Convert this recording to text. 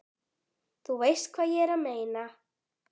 Þú veist hvað ég er að meina.